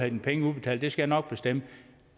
dine penge udbetalt det skal jeg nok bestemme